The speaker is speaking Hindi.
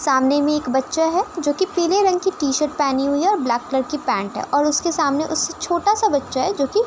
सामने में एक बच्चा है जोकि पीले रंग की टी -शर्ट पेहनी हुई है और ब्लैक कलर की पैंट है और उसके सामने उससे छोटा सा बच्चा है जोकि --